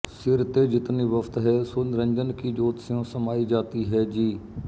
ਸਿਰ ਤੇ ਜਿਤਨੀ ਵਸਤੁ ਹੈ ਸੋ ਨਿਰੰਜਨ ਕੀ ਜੋਤਿ ਸਿਉਂ ਸਮਾਈ ਜਾਤੀ ਹੈ ਜੀ